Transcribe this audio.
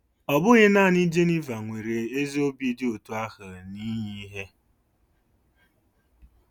Ọ bụghị nanị Geniva nwere ezi obi dị otú ahụ n'inye ihe..